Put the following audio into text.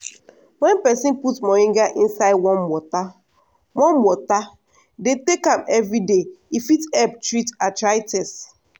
wen peson put moringa inside warm water warm water dey take am everyday e fit help treat arthritis.